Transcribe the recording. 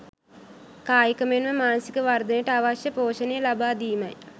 කායික මෙන්ම මානසික වර්ධනයට අවශ්‍ය පෝෂණය ලබාදීමයි.